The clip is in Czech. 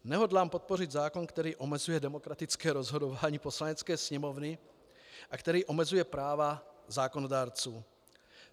Nehodlám podpořit zákon, který omezuje demokratické rozhodování Poslanecké sněmovny a který omezuje práva zákonodárců.